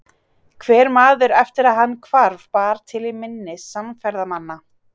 Hver maður eftir að hann hvarf bara til í minni samferðamanna.